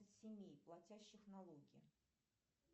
семей платящих налоги